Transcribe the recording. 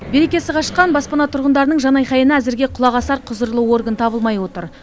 берекесі қашқан баспана тұрғындарының жанайқайына әзірге құлақ асар құзырлы орган табылмай отыр